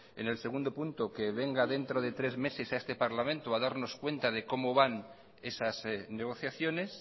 en el segundo punto que venga dentro de tres meses a este parlamento a darnos cuenta de cómo van esas negociaciones